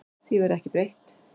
Því verði ekki breytt.